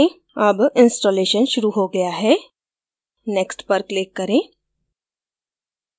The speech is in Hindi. अब installation शुरू हो गया है next पर click करें